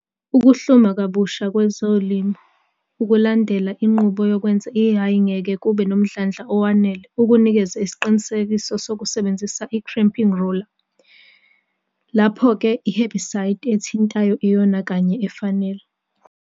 Ukuhluma kabusha kwezilimo ukulandela inqubo yokwenza i-hay ngeke kube nomdlandla owanele ukunikeze isiqinisekiso sokusebenzisa i-crimping roller. Lapho ke i-hebicide ethintayo iyona kanye efanele.